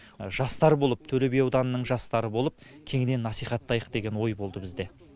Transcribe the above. жастар болып төле би ауданының жастары болып кеңінен насихаттайық деген ой болды бізде